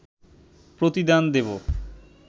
প্রতিদান দেব